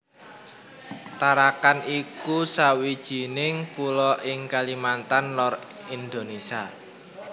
Tarakan iku sawijining pulo ing Kalimantan Lor Indonésia